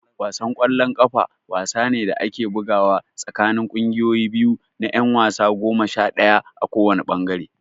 Wasan ƙwallon ƙafa wasa ne da ake bugawa tsakanin ƙungiyoyi biyu na ƴan wasa goma sha ɗaya a kowanne ɓangare.